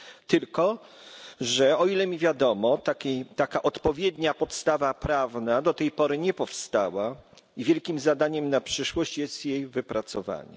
Tylko, że o ile mi wiadomo taka odpowiednia podstawa prawna do tej pory nie powstała i wielkim zadaniem na przyszłość jest jej wypracowanie.